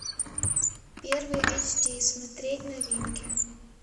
первый эйч ди смотреть новинки